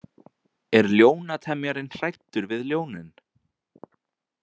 Er ljónatemjarinn hræddur við ljónin?